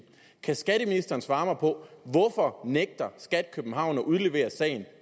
kan skatteministeren svare mig på hvorfor nægter skat københavn at udlevere sagen